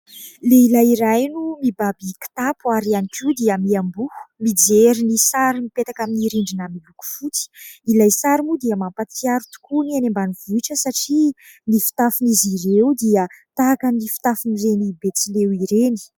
Lehilahy iray no mibaby kitapo ary ihany koa dia miamboho mijery ny sary mipetaka amin'ny rindrina miloko fotsy. Ilay sary moa dia mampatsiaro tokoa ny any ambanivohitra satria ny fitafin'izy ireo dia tahaky ny fitafin'ireny Betsileo ireny.